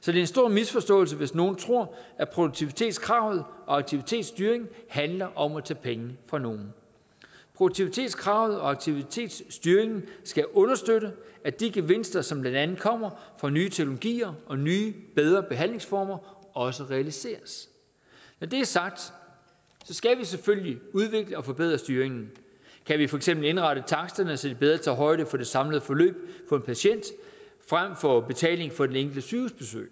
så det er en stor misforståelse hvis nogen tror at produktivitetskravet og aktivitetsstyringen handler om at tage penge fra nogen produktivitetskravet og aktivitetsstyringen skal understøtte at de gevinster som blandt andet kommer fra nye teknologier og nye bedre behandlingsformer også realiseres når det er sagt skal vi selvfølgelig udvikle og forbedre styringen kan vi for eksempel indrette taksterne så de bedre tager højde for det samlede forløb for en patient frem for betaling for den enkeltes sygehusbesøg